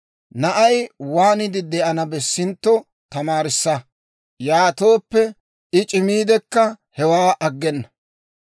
Na'ay waaniide de'ana bessintto tamaarissa; yaatooppe, I c'imiidekka hewaa aggena.